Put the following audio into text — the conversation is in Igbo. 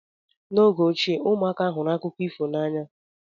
N'oge ochie, ụmụaka hụrụ akụkọ ifo n'anya.